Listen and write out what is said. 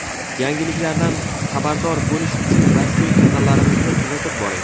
Yangiliklardan xabardor bo‘lish uchun rasmiy kanallarimizni kuzatib boring.